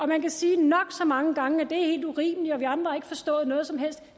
man kan sige nok så mange gange at det er helt urimeligt og at vi andre ikke har forstået noget som helst